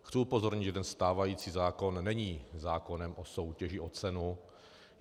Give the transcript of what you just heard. Chci upozornit, že ten stávající zákon není zákonem o soutěži o cenu.